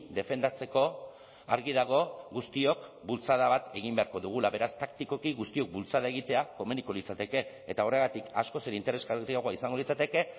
defendatzeko argi dago guztiok bultzada bat egin beharko dugula beraz taktikoki guztiok bultzada egitea komeniko litzateke eta horregatik askoz ere interesgarriagoa izango litzateke